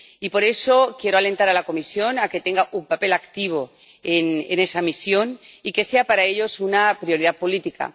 Y por eso quiero alentar a la Comisión a que tenga un papel activo en esa misión y que sea para ella una prioridad política.